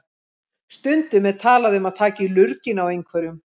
Stundum er talað um að taka í lurginn á einhverjum.